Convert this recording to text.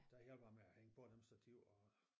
Der hjalp jeg med at hænge på dem stativ og